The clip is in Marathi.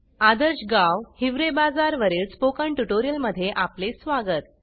आदर्श गाव हिवरे बाजार वरील स्पोकन ट्यूटोरियल मध्ये आपले स्वागत